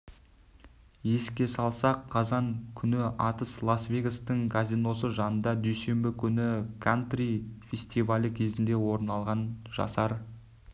еске салсақ қазан күні атыс лас-вегастағы казиносы жанында дүйсенбі күні кантри фестивалі кезінде орын алған жасар